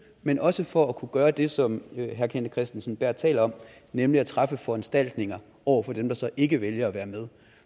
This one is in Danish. men også for at kunne gøre det som herre kenneth kristensen berth taler om nemlig at træffe foranstaltninger over for dem der så ikke vælger at være med